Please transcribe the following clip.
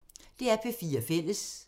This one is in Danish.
DR P4 Fælles